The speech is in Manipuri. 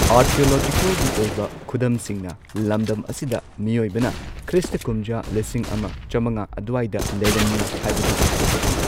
ꯑꯥꯔꯀꯤꯑꯣꯂꯣꯖꯤꯀꯦꯜꯒꯤ ꯑꯣꯏꯕ ꯈꯨꯗꯝꯁꯤꯡꯅ ꯂꯝꯗꯝ ꯑꯁꯤꯗ ꯃꯤꯑꯣꯏꯕꯅ ꯈ꯭ꯔꯤꯁꯇ ꯀꯨꯝꯖꯥ ꯂꯤꯁꯤꯡ ꯑꯃ ꯆꯝꯉꯥ ꯑꯗꯨꯋꯥꯏꯗ ꯂꯩꯔꯝꯃꯤ ꯍꯥꯏꯕꯗꯨ ꯁꯧꯒꯠꯂꯤ꯫